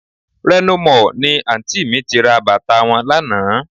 Reno Mall ni Àǹtí mi ti ra bàtà wọn lánàá